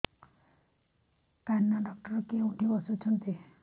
କାନ ଡକ୍ଟର କୋଉଠି ବସୁଛନ୍ତି